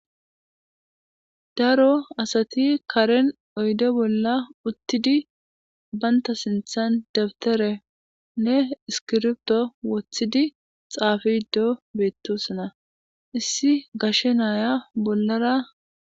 daro asati karen oyde bolla uttidi baynta sinthan dabterenne iskirbto woththidi xaafido beettosana issi gashe naya bollara